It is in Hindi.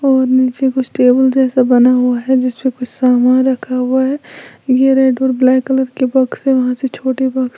और नीचे कुछ टेबुल जैसा बना हुआ है जिसपे कुछ सामान रखा हुआ है ये रेड और ब्लैक कलर के बॉक्स हैं वहां से छोटे बॉक्स --